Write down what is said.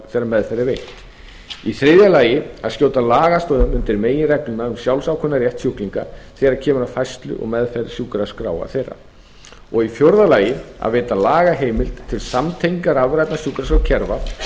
þegar meðferð er veitt þriðja að skjóta lagastoðum undir meginregluna um sjálfsákvörðunarrétt sjúklinga þegar kemur að færslu og meðferð sjúkraskráa þeirra fjórða að veita lagaheimild til samtengingar rafrænna sjúkraskrárkerfa